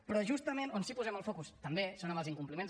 però justament on sí que posem el focus també és en els incompliments